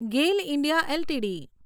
GAIL India LTD